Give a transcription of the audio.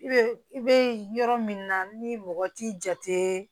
I bɛ i bɛ yɔrɔ min na ni mɔgɔ t t'i jate